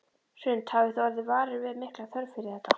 Hrund: Hafið þið orðið varir við mikla þörf fyrir þetta?